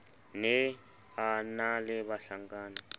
ne a na le bahlankana